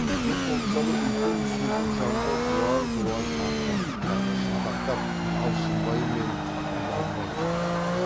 үйде топсалы үлкен үстелдің жанында жуан жуан ақ жастықтарға шынтақтап алшынбай мен құнанбай отыр екен